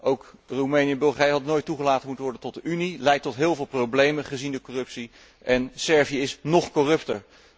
Ook Roemenië en Bulgarije hadden nooit toegelaten moeten worden tot de Unie. Een en ander leidt tot heel veel problemen gezien de corruptie en Servië is nog corrupter.